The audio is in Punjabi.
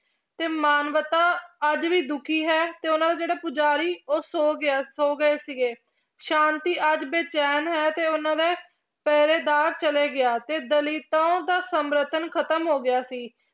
ਤੇ ਮਾਨਵਤਾ ਅੱਜ ਵੀ ਦੁਖੀ ਹੈ ਤੇ ਉਹਨਾਂ ਦੇ ਜਿਹੜੇ ਪੂਜਾਰੀ ਉਹ ਸੌ ਗਿਆ ਸੌ ਗਏ ਸੀਗੇ, ਸ਼ਾਂਤੀ ਅੱਜ ਬੇਚੈਨ ਹੈ ਤੇ ਉਹਨਾਂ ਦੇ ਪਹਿਰੇਦਾਰ ਚਲੇ ਗਿਆ ਤੇ ਦਲਿੱਤਾਂ ਦਾ ਸਮਰਥਨ ਖ਼ਤਮ ਹੋ ਗਿਆ ਸੀ